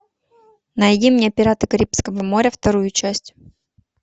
найди мне пираты карибского моря вторую часть